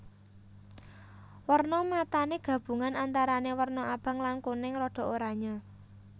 Werna matané gabungan antarané werna abang lan kuning rada oranyé